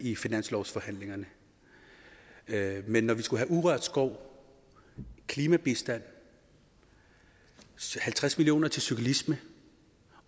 i finanslovsforhandlingerne men når vi skulle have urørt skov klimabistand halvtreds million kroner til cyklisme